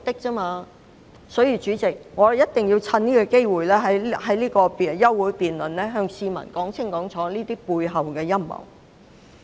因此，代理主席，我一定要藉此休會待續議案辯論的機會向市民說清楚他們背後的陰謀。